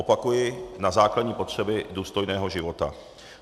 Opakuji - na základní potřeby důstojného života.